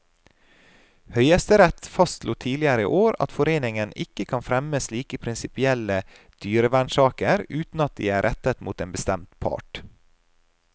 Høyesterett fastslo tidligere i år at foreningen ikke kan fremme slike prinsipielle dyrevernsaker uten at de er rettet mot en bestemt part.